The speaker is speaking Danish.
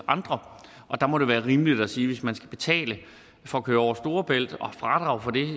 andre og der må det være rimeligt at sige at hvis man skal betale for at køre over storebælt og har fradrag for det